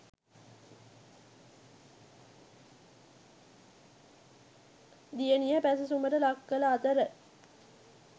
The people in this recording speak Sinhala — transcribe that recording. දියණිය පැසසුමට ලක්කළ අතර